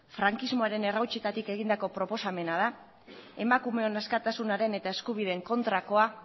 frankismoaren errautsetatik egindako proposamena da emakumeon askatasunaren eta eskubideen kontrakoa